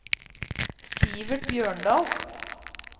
Sivert Bjørndal